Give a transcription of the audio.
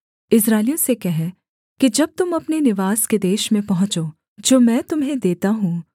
इस्राएलियों से कह कि जब तुम अपने निवास के देश में पहुँचो जो मैं तुम्हें देता हूँ